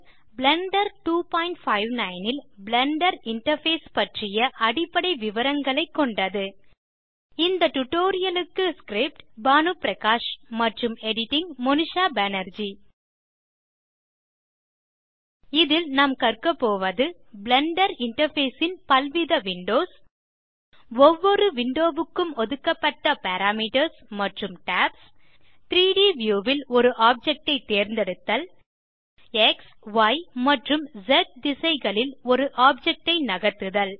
Blender 259 ல் Blender interface பற்றிய அடிப்படை விவரங்களைக் கொண்டது இந்த டியூட்டோரியல் க்கு script160 பானு பிரகாஷ் மற்றும் editing160 மோனிஷா பேனர்ஜி இதில் நாம் கற்க போவது பிளெண்டர் இன்டர்ஃபேஸ் ன் பல்வித விண்டோஸ் ஒவ்வொரு விண்டோ க்கும் ஒதுக்கப்பட்ட பாராமீட்டர்ஸ் மற்றும் டாப்ஸ் 3ட் வியூ ல் ஒரு ஆப்ஜெக்ட் ஐ தேர்ந்தெடுத்தல் xய் ஆம்ப் ஸ் திசைகளில் ஒரு ஆப்ஜெக்ட் ஐ நகர்த்துதல்